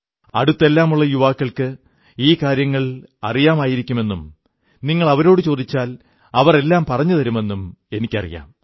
അടുത്തെല്ലാമുള്ള യുവാക്കൾക്ക് ഈ കാര്യങ്ങൾ അറിയാമായിരിക്കുമെന്നും നിങ്ങൾ അവരോടു ചോദിച്ചാൽ അവർ എല്ലാം പറഞ്ഞുതരുമെന്നും എനിക്കറിയാം